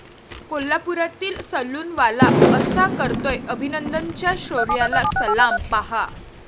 कोल्हापुरातील सलूनवाला असा करतोय अभिनंदनच्या शौर्याला सलाम, पाहा